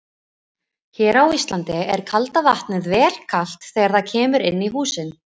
Hér á Íslandi er kalda vatnið vel kalt þegar það kemur inn í húsin.